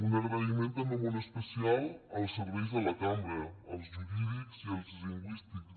un agraïment també molt especial als serveis de la cambra als jurídics i als lingüístics